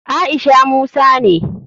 Aisha musa ne.